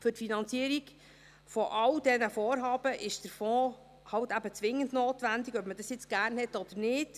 Für die Finanzierung all dieser Vorhaben ist der Fonds halt eben zwingend notwendig, ob man diesen nun gerne hat oder nicht.